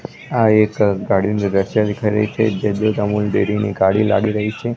આ એક ગાડીનું દ્રશ્ય દેખાય રહ્યું છે જે દૂધ અમુલ ડેરી ની ગાડી લાગી રહી છે.